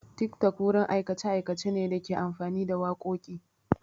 TikTok wurin aikace-aikace ne da ke amfani da wakoki.